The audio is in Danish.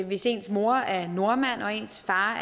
hvis ens mor er nordmand og ens far